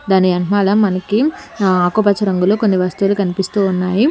దాని ఎనకమాల మనకి ఆ ఆకుపచ్చ రంగులో కొన్ని వస్తువులు కనిపిస్తూ ఉన్నాయి.